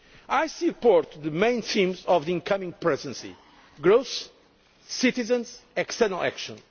I support the main themes of the incoming Presidency growth, citizens, external action.